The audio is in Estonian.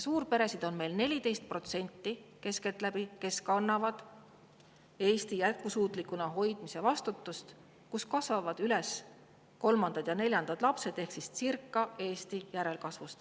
Suurperesid on meil keskeltläbi 14%: nemad kannavad Eesti jätkusuutlikuna hoidmise vastutust ja neis kasvavad üles kolmandad ja neljandad lapsed ehk Eesti järelkasv.